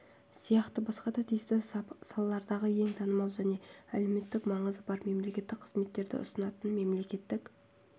сияқты басқа да тиісті салалардағы ең танымал және әлеуметтік маңызы бар мемлекеттік қызметтерді ұсынатын мемлекеттік